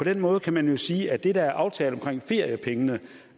måde kan man jo sige at det der er aftalt omkring feriepengene